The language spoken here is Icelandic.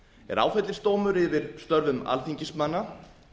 er áfellisdómur yfir störfum alþingismanna